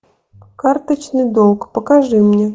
карточный долг покажи мне